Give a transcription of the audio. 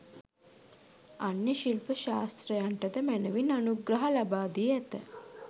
අන්‍ය ශිල්ප ශාස්ත්‍රයන්ටද මැනවින් අනුග්‍රහ ලබාදී ඇත.